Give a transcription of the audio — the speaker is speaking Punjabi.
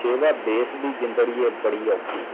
ਸੇਵਾ ਦੇਸ਼ ਦੀ ਜ਼ਿੰਦਗੀ ਬਹੁਤ ਮੁਸ਼ਕਲ ਹੈ